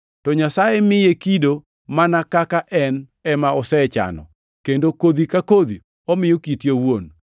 To Nyasaye miye kido mana kaka en ema osechano, kendo kodhi ka kodhi omiyo kite owuon.